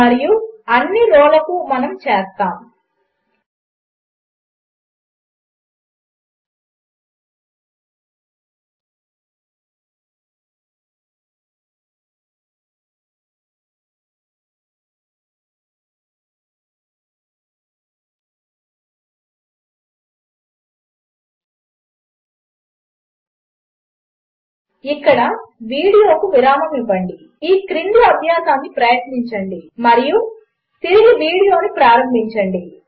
మరియు అన్ని రోలకు మనము చేస్తాము ఇక్కడ వీడియోకు విరామము ఇవ్వండి ఈ క్రింది అభ్యాసమును ప్రయత్నించండి మరియు తిరిగి వీడియోను ప్రారంభించండి